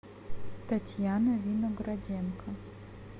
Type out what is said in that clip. татьяна винограденко